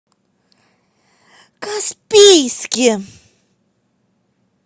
каспийске